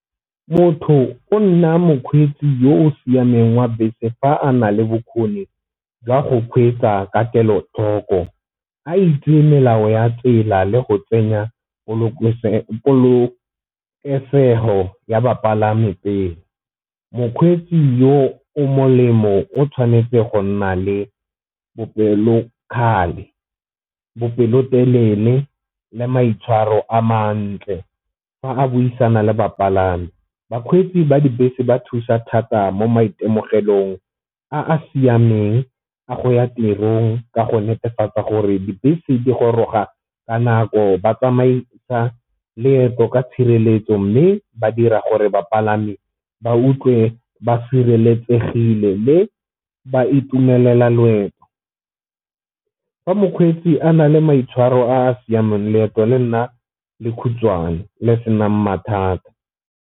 Motho o nna mokgweetsi yo o siameng wa bese fa a na le bokgoni jwa go kgweetsa ka kelothoko a itse melao ya tsela le go tsenya polokesego ya bapalami pele. Mokgweetsi yo o molemo o tshwanetse go nna le bopelokgale, bopelotelele le maitshwaro a mantle fa a buisana le bapalami bakgweetsi ba dibese ba thusa thata mo maitemogelong a a siameng a go ya tirong ka go netefatsa gore dibese di goroga ka nako ba tsamaisa leeto ka tshireletso, mme ba dira gore bapalami ba utlwe ba sireletsegile le ba itumelela loeto. Fa mokgweetsi a na le maitshwaro a a siameng leeto le nna le khutshwane le senang mathata.